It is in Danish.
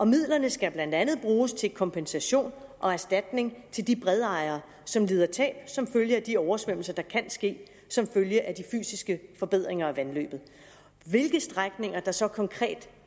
midlerne skal blandt andet bruges til kompensation og erstatning til de bredejere som lider tab som følge af de oversvømmelser der kan ske som følge af de fysiske forbedringer af vandløbet hvilke strækninger der så konkret